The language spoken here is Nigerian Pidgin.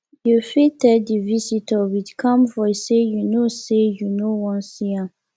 you fit tell di visitor with calm voice sey you no sey you no wan see am